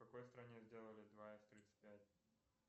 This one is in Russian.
в какой стране сделали два с тридцать пять